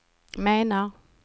menar